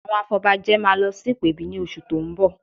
Àwọn afọbajẹ máa lọ sí ìpèbí ní oṣù tó ń bọ̀